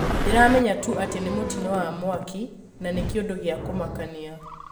Ndĩramenya tu atĩ nĩ mũtĩno wa mwaki, na nĩ kĩundũ gĩa kumakania